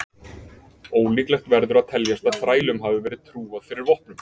Ólíklegt verður að teljast að þrælum hafi verið trúað fyrir vopnum.